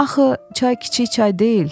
Axı çay kiçik çay deyil.